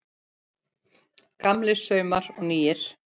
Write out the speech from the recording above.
Gamlir saumar og nýir